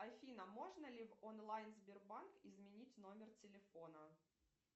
афина можно ли в онлайн сбербанк изменить номер телефона